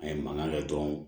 A ye mankan ladon